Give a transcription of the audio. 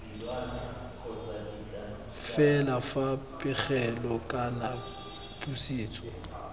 fela fa pegelo kana pusetso